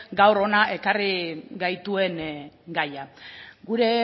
gaur hona ekarri gaituen gaia gure